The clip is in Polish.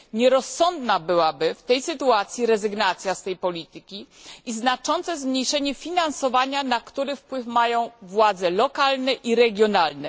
Nierozsądna byłaby w tej sytuacji rezygnacja z tej polityki i znaczące zmniejszenie finansowania, na który wpływ mają władze lokalne i regionalne.